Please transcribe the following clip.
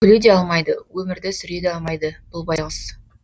күле де алмайды өмірді сүре де алмайды бұл байғұс